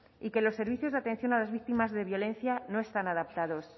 y que los servicios de atención a las víctimas de violencia no están adaptados